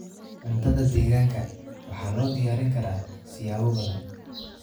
Cuntada deegaanka waxaa loo diyaarin karaa siyaabo badan.